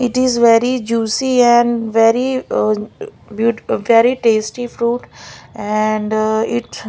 it is very juicy and very uh very beauti very tasty fruit and it--